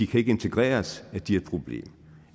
kan integreres at de er et problem